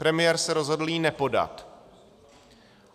Premiér se rozhodl ji nepodat.